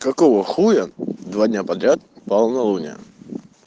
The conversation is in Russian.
какого хуя два дня подряд полнолуние